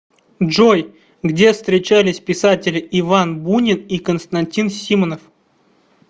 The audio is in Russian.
джой где встречались писатели иван бунин и константин симонов